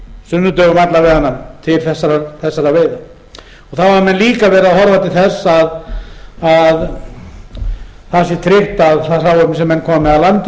sunnudögum alla vega til þessara veiða þá hafa menn líka verið að horfa til þess að það sé tryggt að það hráefni sem menn komi með að landi